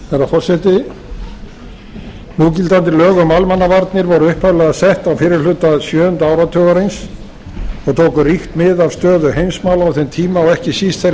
herra forseti núgildandi lög um almannavarnir voru upphaflega sett á fyrri hluta sjöunda áratugarins og tóku ríkt mið af stöðu heimsmála á þeim tíma og ekki síst þeirri